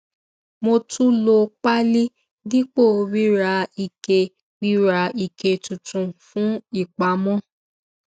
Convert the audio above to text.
mo tún lo páálí dípò rira ike rira ike tuntun fún ìpamọ